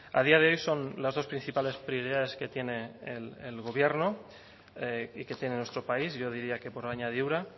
a día de hoy son las dos principales prioridades que tiene el gobierno y que tiene nuestro país yo diría que por añadidura